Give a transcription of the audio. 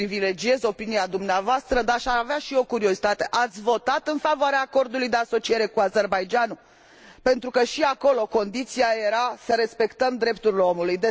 Privilegiez opinia dumneavoastră, dar aș avea și eu curiozitatea ați votat în favoare acordului de asociere cu Azerbaidjanul? Pentru că și acolo condiția era să respectăm drepturile omului.